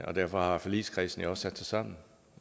det derfor har forligskredsen sat sig sammen